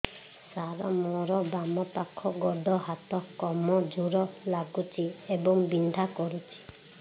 ସାର ମୋର ବାମ ପାଖ ଗୋଡ ହାତ କମଜୁର ଲାଗୁଛି ଏବଂ ବିନ୍ଧା କରୁଛି